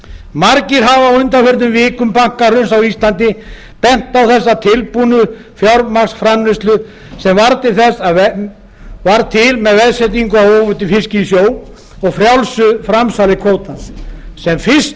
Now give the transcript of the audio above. margir hafa á undanförnum vikum bankahruns á íslandi bent á þessa tilbúnu fjármagnsframleiðslu sem varð til með veðsetningu á óveiddum fiski í sjó og frjálsu framsali kvótans sem